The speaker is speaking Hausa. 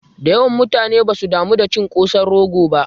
Dayawan mutane basu damu da cin kosan rogo ba